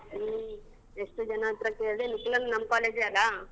ಹ್ಮ್ ಎಷ್ಟ್ ಜನ ಹತ್ರ ಕೇಳಿ ನಿಖಿಲಣ್ಣ ನಮ್ college ಎ ಅಲ.